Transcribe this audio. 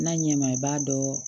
N'a ɲɛ ma i b'a dɔn